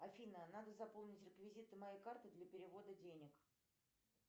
афина надо заполнить реквизиты моей карты для перевода денег